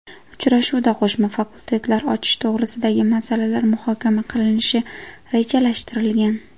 Uchrashuvda qo‘shma fakultetlar ochish to‘g‘risidagi masalalar muhokama qilinishi rejalashtirilgan.